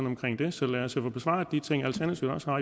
omkring det så lad os få besvaret de ting alternativet også har